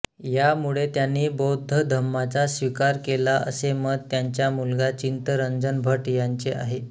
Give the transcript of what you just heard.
यामुळे त्यांनी बौद्ध धम्माचा स्वीकार केला असे मत त्यांच्या मुलगा चित्तरंजन भट यांचे आहे